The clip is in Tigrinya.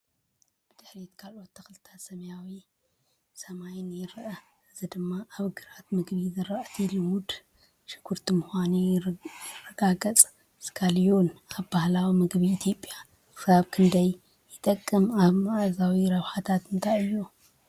ብድሕሪት ካልኦት ተኽልታትን ሰማያዊ ሰማይን ይረአ፡ እዚ ድማ እቲ ግራት ምግቢ ዝራእቲ ልሙዕ ሽጉርቲ ምዃኑ የረጋግጽ። ስካሊዮን ኣብ ባህላዊ ምግቢ ኢትዮጵያ ክሳብ ክንደይ ይጥቀምን ኣብ መኣዛዊ ረብሓታቱ እንታይ እዩ?